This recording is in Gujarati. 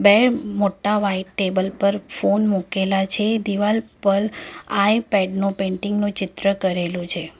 એમ મોટા વ્હાઈટ ટેબલ પર ફોન મુકેલા છે દિવાલ પર આઈ પેડ નો પેઇન્ટિંગ નું ચિત્ર કરેલું છે.